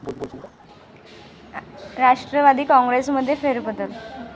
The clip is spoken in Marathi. राष्ट्रवादी काँग्रेसमध्ये फेरबदल?